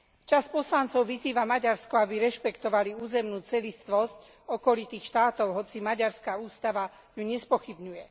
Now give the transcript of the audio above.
Časť poslancov vyzýva Maďarsko, aby rešpektovali územnú celistvosť okolitých štátov, hoci maďarská ústava ju nespochybňuje.